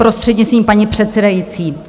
Prostřednictvím paní předsedající.